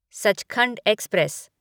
Sachkhand express